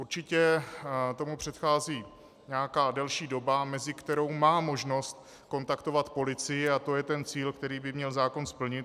Určitě tomu předchází nějaká delší doba, mezi kterou má možnost kontaktovat policii, a to je ten cíl, který by měl zákon splnit.